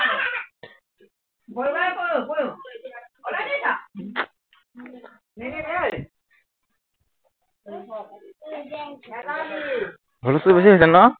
সৰু লৰা ছোৱালী বেছি হৈছিল ন?